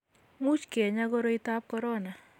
much kenyaa koroitab korona